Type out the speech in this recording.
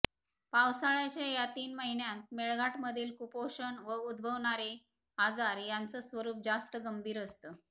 पावसाळ्याच्या या तीन महिन्यांत मेळघाटमधील कुपोषण व उद्भवणारे आजार यांचं स्वरुप जास्त गंभीर असतं